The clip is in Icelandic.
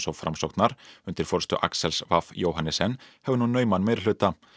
og Framsóknar undir forystu Aksels fimm Johannessen hefur nú nauman meirihluta